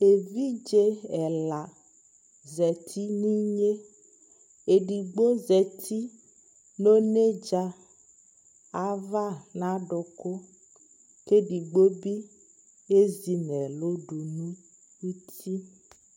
ɛvidzɛ ɛla zati nʋ inyɛ, ɛdigbɔ zati nʋ ɔnɛdza aɣa nʋ adʋkʋ kʋ ɛdigbɔ bi ɛzi nʋ ɛlʋ dʋnʋti